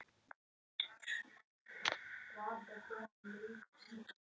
Hún trúði alltaf á mig.